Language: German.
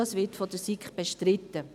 Das wird von der SiK bestritten.